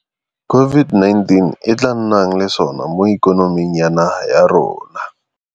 COVID-19 e tla nnang le sona mo ikonoming ya naga ya rona.